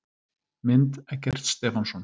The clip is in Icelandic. Mynd: Eggert Stefánsson.